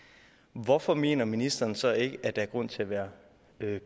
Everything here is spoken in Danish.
hvorfor mener ministeren så ikke at der er grund til at være